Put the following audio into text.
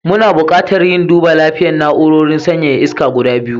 Muna buƙatar yin duba lapiyan na'urorin sanyaya iska guda biyu.